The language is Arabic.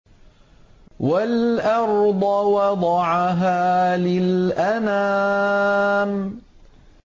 وَالْأَرْضَ وَضَعَهَا لِلْأَنَامِ